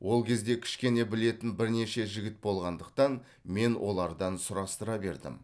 ол кезде кішкене білетін бірнеше жігіт болғандықтан мен олардан сұрастыра бердім